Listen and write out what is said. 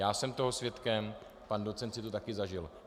Já jsem toho svědkem, pan docent si to také zažil.